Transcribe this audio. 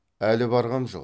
әлі барғам жоқ